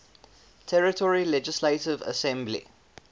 territory legislative assembly